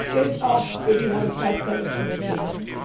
hat. Das gilt auch für die Langzeitmanagementpläne.